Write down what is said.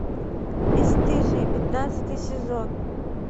бесстыжие пятнадцатый сезон